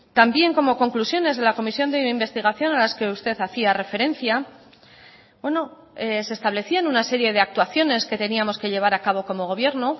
también como conclusiones de la comisión de investigación a las que usted hacía referencia se establecían una serie de actuaciones que teníamos que llevar a cabo como gobierno